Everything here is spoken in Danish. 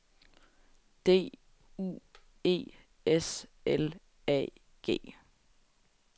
D U E S L A G